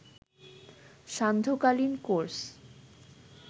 সান্ধ্যকালীন course